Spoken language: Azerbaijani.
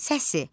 Səsi.